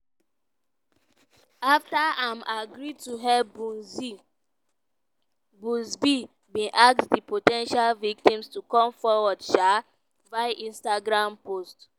afta im agree to help buzbee bin ask di po ten tial victims to come forward um via instagram post.